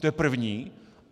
To je první.